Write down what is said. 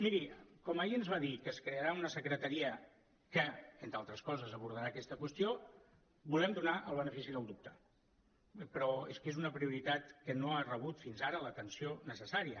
miri com ahir ens va dir que es crearà una secretaria que entre altres coses abordarà aquesta qüestió volem donar el benefici del dubte però és que és una prioritat que no ha rebut fins ara l’atenció necessària